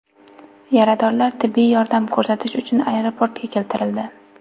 Yaradorlar tibbiy yordam ko‘rsatish uchun aeroportga keltirildi.